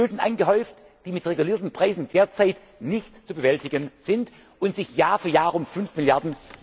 30 Mrd. EUR Schulden angehäuft, die mit regulierten Preisen derzeit nicht zu bewältigen sind und sich Jahr für Jahr